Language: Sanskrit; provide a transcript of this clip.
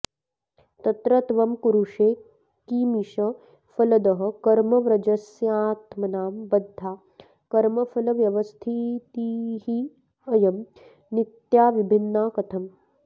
तत्र त्वं कुरुषे किमीश फलदः कर्मव्रजस्यात्मनां बद्धा कर्मफलव्यवस्थितिरियं नित्याविभिन्ना कथम्